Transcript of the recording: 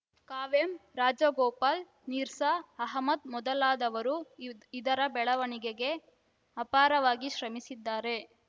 ಕಾವ್ಯಂ ರಾಜಗೋಪಾಲ್‌ ನಿರ್ಸಾ ಅಹಮದ್‌ ಮೊದಲಾದವರು ಇದರ ಬೆಳವಣಿಗೆಗೆ ಅಪಾರವಾಗಿ ಶ್ರಮಿಸಿದ್ದಾರೆ